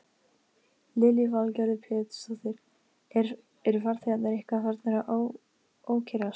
Lillý Valgerður Pétursdóttir: Eru farþegarnir eitthvað farnir að ókyrrast?